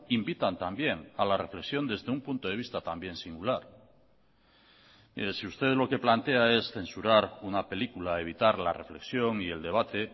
invitan también a la reflexión desde un punto de vista también singular mire si usted lo que plantea es censurar una película evitar la reflexión y el debate